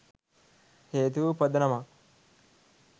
හේතු වූ පදනමක්